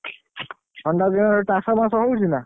ଥଣ୍ଡା ଦିନରେ ଚାଷବାସ ହଉଛି ନା?